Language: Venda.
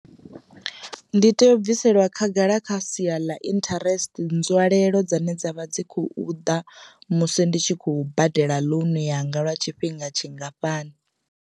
Ndi tea u bviselwa khagala kha sia ḽa interest nzwalelo dzine dzavha dzi khou ḓa musi ndi tshi khou badela ḽounu yanga lwa tshifhinga tshingafhani.